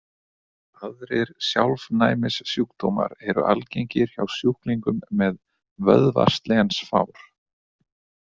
Aðrir sjálfnæmissjúkdómar eru algengir hjá sjúklingum með vöðvaslensfár.